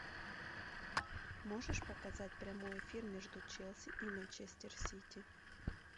можешь показать прямой эфир между челси и манчестер сити